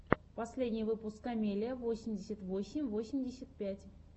последний выпуск камеллиа восемьдесят восемь восемьдесят пять